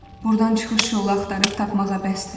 Burdan çıxış yolu axtarıb tapmağa bəsdir.